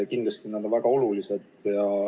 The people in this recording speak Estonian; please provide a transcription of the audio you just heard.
Kindlasti on need väga olulised.